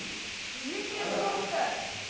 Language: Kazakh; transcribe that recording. екі рет соқты